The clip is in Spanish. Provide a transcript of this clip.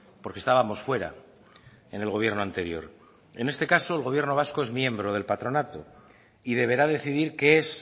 porque estábamos fuera en el gobierno anterior en este caso el gobierno vasco es miembro del patronato y deberá decidir qué es